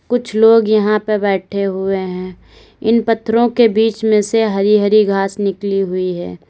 कुछ लोग यहां पे बैठे हुए है इन पत्थरों बीच में से हरी हरी घास निकली हुई है।